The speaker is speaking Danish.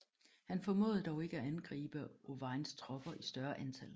Han formåede dog ikke at angribe Owains tropper i større antal